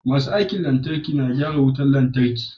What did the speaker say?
Masu aikin lantarki na gyara wutan lantarki